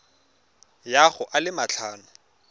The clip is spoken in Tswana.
ya go a le matlhano